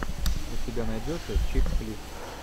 у тебя найдется чикфлик